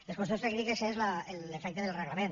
les qüestions tècniques són l’efecte del reglament